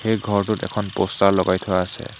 এই ঘৰটোত এখন প'ষ্টাৰ লগাই থোৱা আছে।